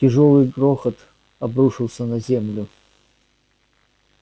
тяжёлый грохот обрушился на землю